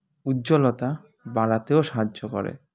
উজ্জ্বলতা বাড়াতেও সাহায্য করে